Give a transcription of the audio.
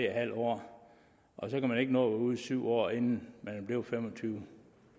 halv år og så kan man ikke nå at være ude i syv år inden man er blevet fem og tyve